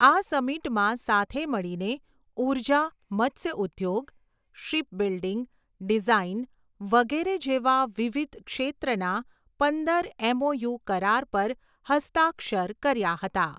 આ સમિટમાં સાથે મળીને ઊર્જા, મત્સ્યઉદ્યોગ, શિપ બિલ્ડિંગ, ડિઝાઇન વગેરે જેવા વિવિધ ક્ષેત્રના પંદર એમઓયુ કરાર પર હસ્તાક્ષર કર્યા હતા.